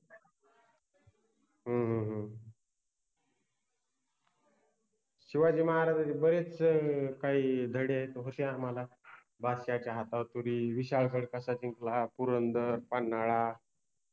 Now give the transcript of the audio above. शिवाजि महाराजांचे बरेचशे काइ धडे आहेत होते आम्हाला, बादशाहाच्या हातावर तुरि, विशालगड कसा जिंकला, पुरंदर, पन्हाळा